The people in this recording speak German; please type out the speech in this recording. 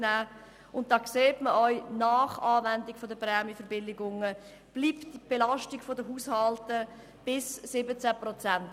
Man sieht auch, dass die Belastung der Haushalte nach Anwendung der Prämienverbilligungen bis zu 17 Prozent des Haushalteinkommens bestehen bleibt.